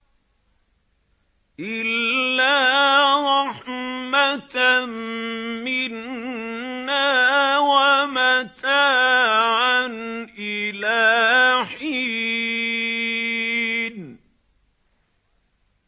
إِلَّا رَحْمَةً مِّنَّا وَمَتَاعًا إِلَىٰ حِينٍ